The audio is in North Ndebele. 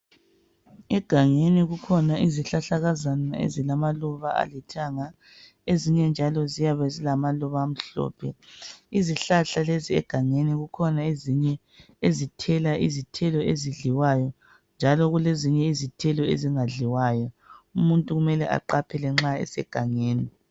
Egangeni kukhona izihlahlakazana ezilamaluba alithanga ezinye njalo ziyabe zilamaluba amhlophe. Izihlahla lezi egangeni kukhona ezinye ezithela izithelo ezidliwayo njalo kulezinye izithelo ezingadliwayo umuntu kumele aqaphele nxa esegangeni.